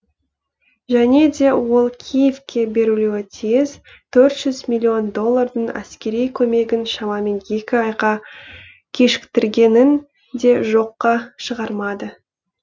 және де ол киевке берілуі тиіс төрт жүз миллион миллион доллардың әскери көмегін шамамен екі айға кешіктіргенін де жоққа шығармады